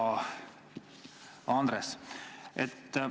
Hea Andres!